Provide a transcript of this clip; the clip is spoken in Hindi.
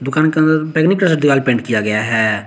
दुकान के अंदर बैगनी कलर से दीवाल पेंट किया गया है।